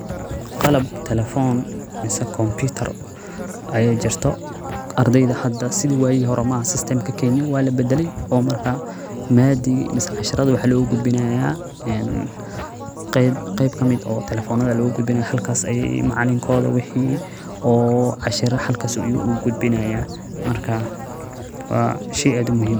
Qalab telefon mase komputar aya jirto arday hada sidi wagi hore maha sestemki Kenya walabadalay oo marka madigi masna casharihi waxa logu gudbina qeyb kamid eh telefonada aya logu gudbina halkas ay macalinkoda wixi oo cashira halakas ayu ugu gudbinaya maraka wa shey aad umuhim eh.